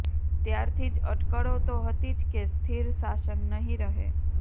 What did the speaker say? ત્યારથી જ અટકળો તો હતી જ કે સ્થિર સાશન નહીં રહે